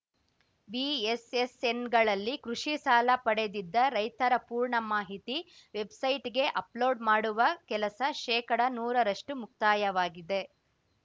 ವಿಎಸ್‌ಎಸ್‌ಎನ್‌ಗಳಲ್ಲಿ ಕೃಷಿ ಸಾಲ ಪಡೆದಿದ್ದ ರೈತರ ಪೂರ್ಣ ಮಾಹಿತಿ ವೆಬ್‌ಸೈಟ್‌ಗೆ ಅಪ್‌ಲೋಡ್‌ ಮಾಡುವ ಕೆಲಸ ಶೇಕಡನೂರರಷ್ಟುಮುಕ್ತಾಯವಾಗಿದೆ